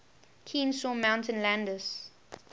kenesaw mountain landis